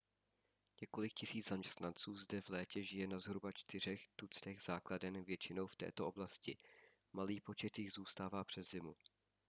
několik tisíc zaměstnanců zde v létě žije na zhruba čtyřech tuctech základen většinou v této oblasti malý počet jich zůstává přes zimu